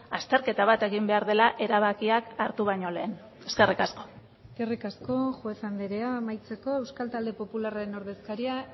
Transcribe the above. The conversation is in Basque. azterketa bat egin behar dela erabakiak hartu baino lehen eskerrik asko eskerrik asko juez andrea amaitzeko euskal talde popularraren ordezkaria